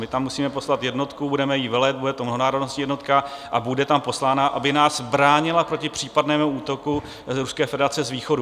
My tam musíme poslat jednotku, budeme jí velet, bude to mnohonárodnostní jednotka a bude tam poslána, aby nás bránila proti případnému útoku z Ruské federace z východu.